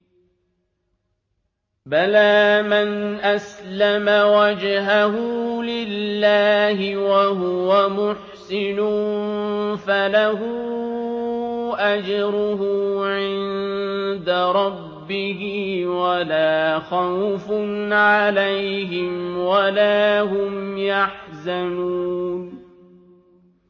بَلَىٰ مَنْ أَسْلَمَ وَجْهَهُ لِلَّهِ وَهُوَ مُحْسِنٌ فَلَهُ أَجْرُهُ عِندَ رَبِّهِ وَلَا خَوْفٌ عَلَيْهِمْ وَلَا هُمْ يَحْزَنُونَ